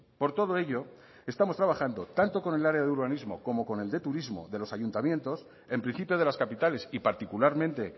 por todo ello estamos trabajando tanto con el área de urbanismo como con el de turismo de los ayuntamientos en principio de las capitales y particularmente